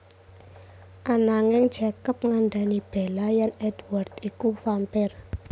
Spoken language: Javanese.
Ananging Jacob ngandhani Bella yèn Édward iku vampire